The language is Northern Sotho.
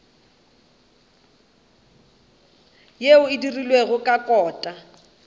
yeo e dirilwego ka kota